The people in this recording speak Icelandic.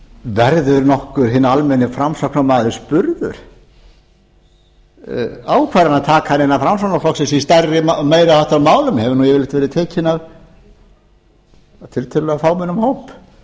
verður nokkuð hinn almenni framsóknarmaður spurður ákvarðanataka innan framsóknarflokksins í meiri háttar málum hefur nú yfirleitt verið tekin af tiltölulega fámennum hóp